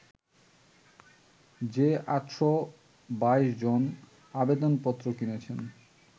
যে ৮২২ জন আবেদনপত্র কিনেছেন